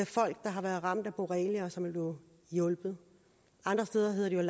folk der har været ramt af borrelia og som er blevet hjulpet andre steder hedder det jo